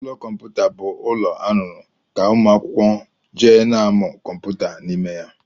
Ụlọ kọmputa bụ ụlọ arụrụ ka ụmụ akwụkwọ jee n'amụ kọmputa n'ime ya.